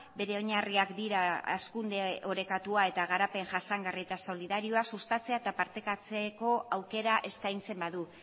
bere oinarriak dira hazkunde orekatua eta garapen jasangarri eta solidarioa sustatzea eta partekatzeko aukera eskaintzen badu